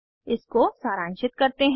इसको सारांशित करते हैं